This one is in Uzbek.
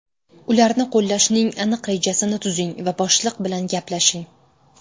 Ularni qo‘llashning aniq rejasini tuzing va boshliq bilan gaplashing.